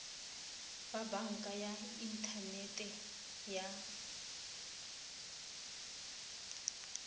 ba banka ya inthanete ya